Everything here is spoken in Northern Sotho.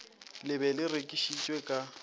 le be le rekišitšwe ka